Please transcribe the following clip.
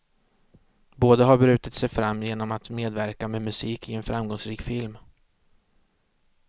Båda har brytit sig fram genom att medverka med musik i en framgångsrik film.